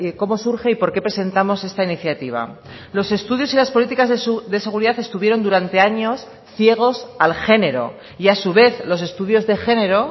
cómo surge y por qué presentamos esta iniciativa los estudios y las políticas de seguridad estuvieron durante años ciegos al género y a su vez los estudios de género